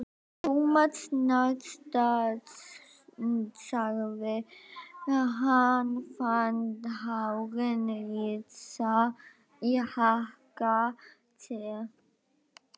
Thomas snarstansaði, hann fann hárin rísa í hnakka sér.